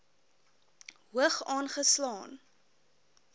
hoog aange slaan